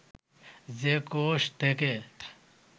যে কোষ থাকে